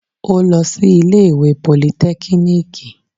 Ó lọ sí ilé ìwé politẹ́kíníìkì